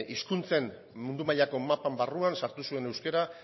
hizkuntzen mundu mailako mapa barruan sartu zuen euskara